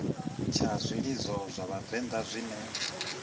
tsha zwilidzo zwa vhavenḓa zwine